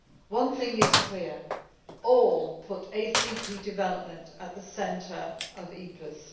One thing is clear all put ACP development at the centre of EPAs.